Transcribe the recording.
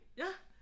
Ja